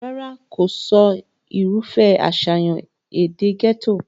rárá, kìí sọ irúfẹ́ àṣàyàn èdè gẹ́tò